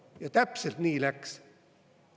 Ja täpselt nii läks!